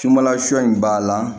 Sunbalasun in b'a la